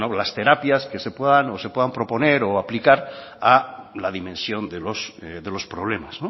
las terapias que se puedan proponer o aplicar a la dimensión de los problemas